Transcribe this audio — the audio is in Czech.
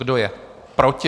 Kdo je proti?